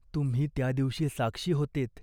तुम्ही त्या दिवशी साक्षी होतेत.